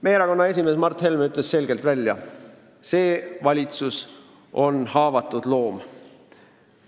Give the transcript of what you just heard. Meie erakonna esimees Mart Helme ütles selgelt välja: see valitsus on haavatud loom.